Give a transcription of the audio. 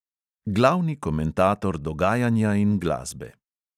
Glavni komentator dogajanja in glasbe.